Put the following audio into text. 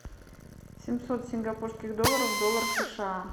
семьсот сингапурских долларов в долларах сша